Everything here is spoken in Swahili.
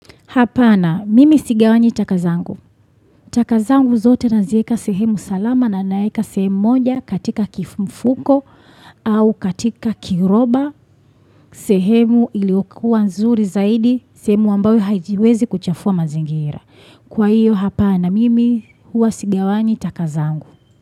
Hapana, mimi sigawanyi taka zangu. Taka zangu zote naziweka sehemu salama na naweka sehemu moja katika mfuko au katika kiroba. Sehemu iliokua nzuri zaidi, sehemu ambayo haijiwezi kuchafua mazingira. Kwa hiyo hapana, mimi huwa sigawanyi taka zangu.